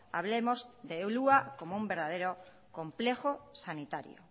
hablemos de ulúa comoun verdadero complejo sanitario